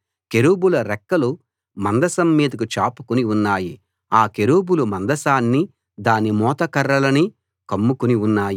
కెరూబుల రెక్కలు మందసం మీదికి చాపుకుని ఉన్నాయి ఆ కెరూబులు మందసాన్ని దాని మోత కర్రలనీ కమ్ముకుని ఉన్నాయి